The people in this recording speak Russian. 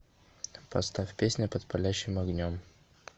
поставь песня под палящим огнем